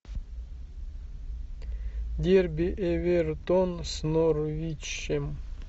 дерби эвертон с норвичем